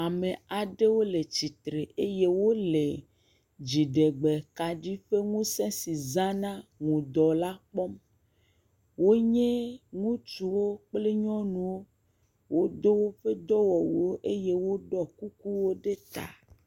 Ame aɖewo le tsitre eye wole dziɖegbe kaɖi ƒe ŋuse si zana ŋdɔ la kpɔm. Wonye ŋutsuwo kple nyɔnuwo. Wodo woƒe dɔwɔwuwo eye woɖɔ kukuwo ɖe ta.